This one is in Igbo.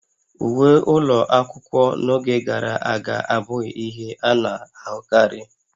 Uwe ụlọ akwụkwọ n'oge gara aga abụghị ihe a na-ahụkarị